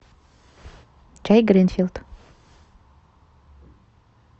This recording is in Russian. чай гринфилд